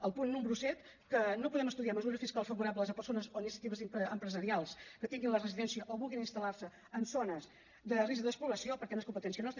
el punt número set que no podem estudiar mesures fiscals favorables a persones o iniciatives empresarials que tinguin la residència o vulguin instal·lar se en zones de risc de despoblació perquè no és competència nostra